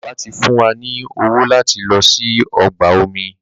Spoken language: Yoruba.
Bàbá tí fún wá ní owo lati ló sì ọgbà omi